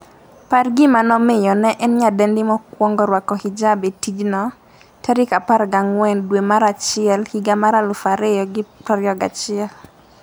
par gima nomiyo ne en nyadendi mokwongo rwako hijab e tijno14 dwe mar achiel higa mar 2021